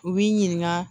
U b'i ɲininka